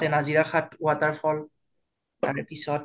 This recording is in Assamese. নাজিৰা ঘাট water fall, তাৰ পিছত